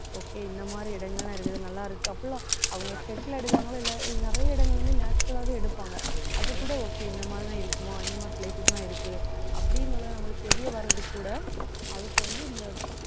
okay இந்த மாதிரி இடங்கள் எல்லாம் இருக்குது நல்லாருக்கு அப்படிலாம் அவங்க set ல எடுக்கறாங்களோ நிறைய இடங்கள் வந்து natural ஆவே எடுப்பாங்க அதுகூட okay இந்த மாதிரிதான் இருக்குமா இந்த மாதிரி places லாம் இருக்கு அப்படின்னு நமக்கு தெரிய வர்றது கூட அதுக்கு வந்து இந்த